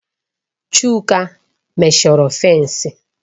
Chuka meshọrọ fènsi